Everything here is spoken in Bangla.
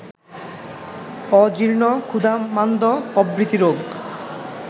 অজীর্ণ ক্ষুধামান্দ্য প্রভৃতি রোগ